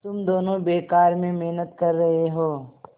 तुम दोनों बेकार में मेहनत कर रहे हो